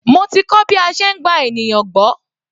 Mo ti kọ́ bí a ṣe ń gba ènìyàn gbọ́.